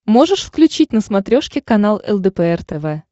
можешь включить на смотрешке канал лдпр тв